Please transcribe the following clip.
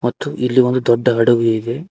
ತೂ ಇಲ್ಲಿ ಒಂದು ದೊಡ್ಡ ಹಡಗು ಇದೆ.